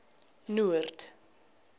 noord